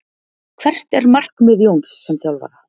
Hvert er markmið Jóns sem þjálfara?